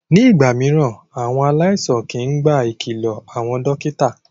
Ní ìgbà mìíràn, àwọn aláìsàn kìí gba ìkìlọ àwọn dókítà.